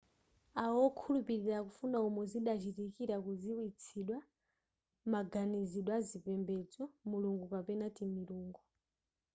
awo wokhulupilira akufuna umo zidachitikira kudziwitsidwa maganizidwe azipembedzo/mulungu kapena timilungo